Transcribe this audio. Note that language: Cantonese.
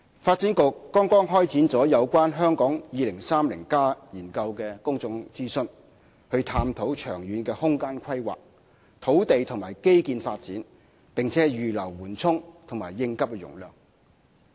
發展局剛剛開展了有關《香港 2030+： 跨越2030年的規劃遠景與策略》的公眾諮詢，以探討長遠的空間規劃、土地和基建發展，以及預留緩衝及應急容量。